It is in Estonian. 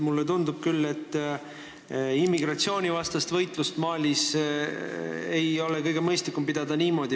Mulle tundub küll, et immigratsioonivastast võitlust Malis ei ole kõige mõistlikum pidada niimoodi.